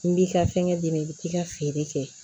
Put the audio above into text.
N b'i ka fɛngɛ d'i ma i bi t'i ka feere kɛ